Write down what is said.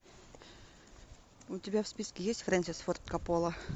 у тебя в списке есть фрэнсис форд коппола